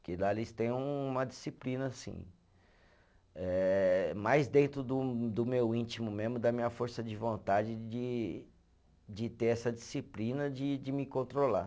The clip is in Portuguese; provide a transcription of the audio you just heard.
lá eles têm uma disciplina, assim, eh mais dentro do do meu íntimo mesmo, da minha força de vontade de de ter essa disciplina de de me controlar.